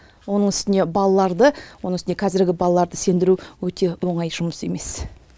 оның үстіне балаларды оның үстіне қазіргі балаларды сендіру өте оңай жұмыс емес